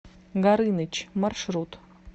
горыныч маршрут